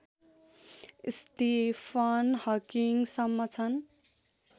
Stephen हकिङसम्म छन्